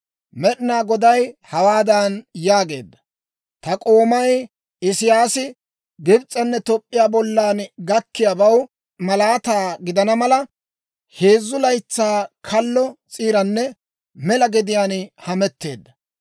Med'inaa Goday hawaadan yaageedda; «Ta k'oomay Isiyaasi Gibs'enne Toop'p'iyaa bollan gakkiyaabaw malaataa gidana mala, heezzu laytsaa kallo s'iiranne mela gediyaan hametteedda.